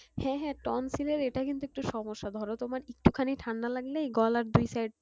হ্যাঁ হ্যাঁ tonsil এর এটা কিন্তু একটু সমস্যা ধরো তোমার একটু খানি ঠান্ডা লাগলেই গলার দুই side